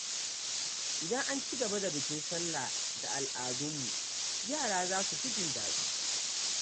Idan an ci gaba da bikin Sallah da al’adunmu, yara za su fi jin daɗi.